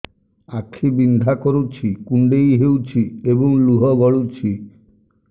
ଆଖି ବିନ୍ଧା କରୁଛି କୁଣ୍ଡେଇ ହେଉଛି ଏବଂ ଲୁହ ଗଳୁଛି